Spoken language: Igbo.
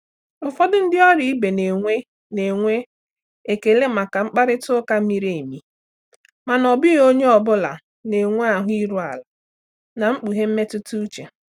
Ụfọdụ ndị ọrụ ibe na-enwe na-enwe ekele maka mkparịta ụka miri emi, mana ọ bụghị onye ọ bụla na-enwe ahụ iru ala na ikpughe mmetụta uche.